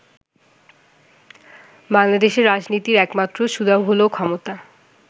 বাংলাদেশের রাজনীতির একমাত্র সুধা হলো 'ক্ষমতা'।